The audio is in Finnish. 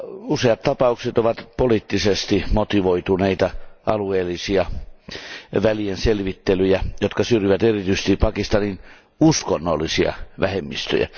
Useat tapaukset ovat poliittisesti motivoituneita, alueellisia välienselvittelyjä, jotka syrjivät erityisesti Pakistanin uskonnollisia vähemmistöjä.